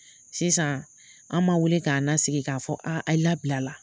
Sisan an ma wele k'a nasigi k'a fɔ labilala.